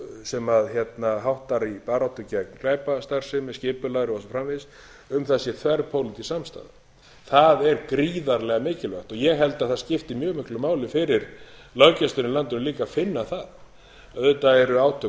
sem háttar í baráttu gegn glæpastarfsemi skipulagðri og svo framvegis um það sé þverpólitísk samstaða það er gríðarlega mikilvægt ég held að það skipti mjög miklu máli fyrir löggæsluna í landinu líka að finna það auðvitað eru átök